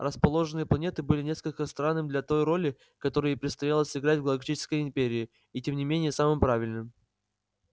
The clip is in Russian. расположеннные планеты было несколько странным для той роли которую ей предстояло сыграть в галактической империи и тем не менее самым правильным